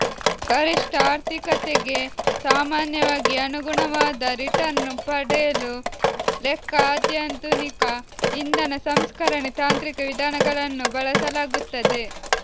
ಗರಿಷ್ಠ ಆರ್ಥಿಕತೆಗೆ ಸಾಮಾನ್ಯವಾಗಿ ಅನುಗುಣವಾದ ರಿಟರ್ನ್ ಪಡೆಯಲು ಲೆಕ್ಕ ಅತ್ಯಾಧುನಿಕ ಇಂಧನ ಸಂಸ್ಕರಣೆ ತಾಂತ್ರಿಕ ವಿಧಾನಗಳನ್ನು ಬಳಸಲಾಗುತ್ತದೆ